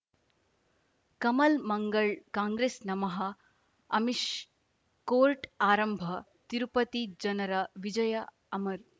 ಕಮಲ್ ಮಂಗಳ್ ಕಾಂಗ್ರೆಸ್ ನಮಃ ಅಮಿಷ್ ಕೋರ್ಟ್ ಆರಂಭ ತಿರುಪತಿ ಜನರ ವಿಜಯ ಅಮರ್